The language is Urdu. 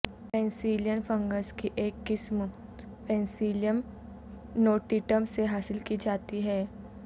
پینسیلین فنگس کی ایک قسم پینسیلیم نوٹیٹم سے حاصل کی جاتی ہے